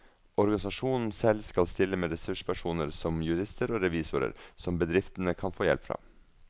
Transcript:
Organisasjonen selv skal stille med ressurspersoner, som jurister og revisorer, som bedriftene kan få hjelp fra.